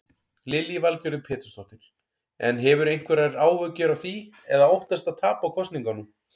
Lillý Valgerður Pétursdóttir: En hefurðu einhverjar áhyggjur af því eða óttastu að tapa kosningunum?